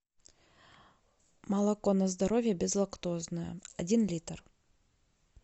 молоко на здоровье безлактозное один литр